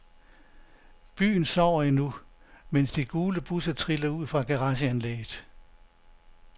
Byen sover endnu, mens de gule busser triller ud fra garageanlægget.